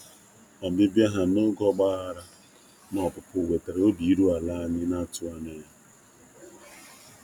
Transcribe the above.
Ọbịbịa ha n'oge um ọgbaghara na um opupu wetara obi iru ala anyị na-atụghị anya ya.